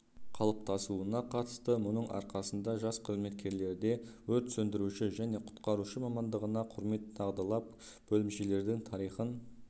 қалыптасуына қатысты мұның арқасында жас қызметкерлерде өрт сөндіруші және құтқарушы мамандығына құрмет дағдылап бөлімшелердің тарихын